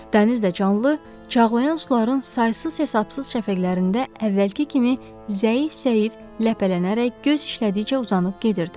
Dəniz də canlı, çağlayan suların saysız-hesabsız şəfəqlərində əvvəlki kimi zəif-zəif ləpələnərək göz işlədikcə uzanıb gedirdi.